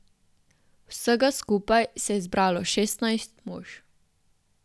Vsega skupaj se je zbralo šestnajst mož.